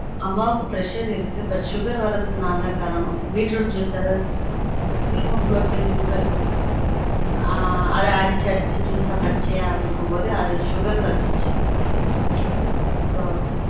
அம்மாவுக்கு pressure இருக்கு but sugar வர்ரதுக்கு நான் தான் காரணம் beetroot juice அதாவது haemoglobin கம்மி ஆன் அது அடிச்சி அடிச்சி பச்சையா குடுக்கும் போது அது sugar ல வச்சுடுசு